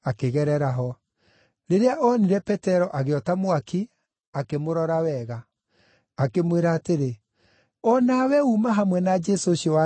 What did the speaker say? Rĩrĩa oonire Petero agĩota mwaki, akĩmũrora wega. “Akĩmwĩra atĩrĩ, ‘O nawe uuma hamwe na Jesũ ũcio wa Nazarethi’.”